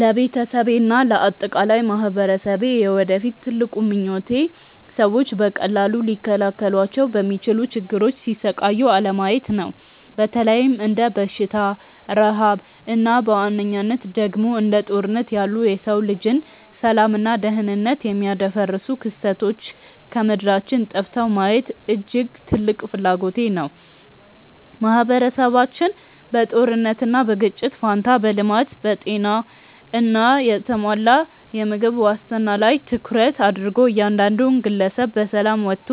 ለቤተሰቤና ለአጠቃላይ ማኅበረሰቤ የወደፊት ትልቁ ምኞቴ ሰዎች በቀላሉ ሊከላከሏቸው በሚችሉ ችግሮች ሲሰቃዩ አለማየት ነው። በተለይም እንደ በሽታ፣ ረሃብ እና በዋነኝነት ደግሞ እንደ ጦርነት ያሉ የሰው ልጅን ሰላምና ደኅንነት የሚያደፈርሱ ክስተቶች ከምድራችን ጠፍተው ማየት እጅግ ትልቅ ፍላጎቴ ነው። ማኅበረሰባችን በጦርነትና በግጭት ፋንታ በልማት፣ በጤና እና በተሟላ የምግብ ዋስትና ላይ ትኩረት አድርጎ እያንዳንዱ ግለሰብ በሰላም ወጥቶ